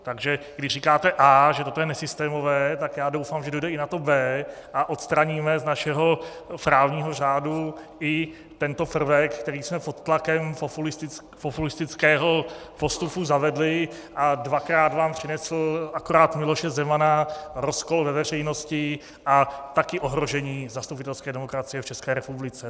Takže když říkáte A, že toto je nesystémové, tak já doufám, že dojde i na to B a odstraníme z našeho právního řádu i tento prvek, který jsme pod tlakem populistického postupu zavedli a dvakrát vám přinesl akorát Miloše Zemana, rozkol ve veřejnosti a také ohrožení zastupitelské demokracie v České republice.